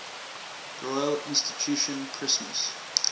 royal institution christmas